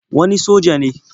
Wani soja ne.